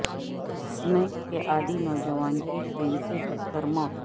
smack کے عادی نوجوان کی ٹرین سے کٹ کر موت